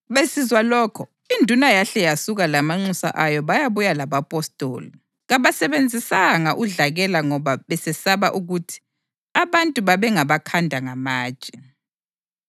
Besizwa lokho, induna yahle yasuka lamanxusa ayo bayabuya labapostoli. Kabasebenzisanga udlakela ngoba besesaba ukuthi abantu babengabakhanda ngamatshe.